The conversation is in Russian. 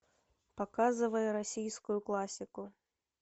показывай российскую классику